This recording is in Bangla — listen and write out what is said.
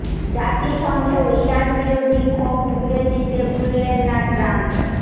জাতিসংঘেও ইরান বিরোধী ক্ষোভ উগরে দিতে ভুললেন না ট্রাম্প